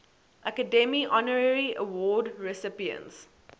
academy honorary award recipients